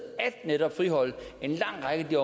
at friholde en lang række